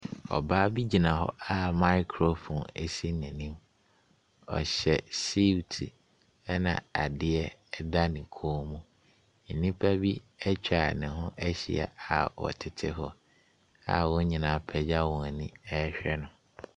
Ɔbaa bi gyina hɔ a microphone si n'anim. Ɔhyɛ suutu, ɛnna adeɛ da ne kɔn mu. Nnipa bi atwa ne ho ahyia a wɔtete hɔ a wɔn nyinaa apagya wɔn ani rehwɛ no.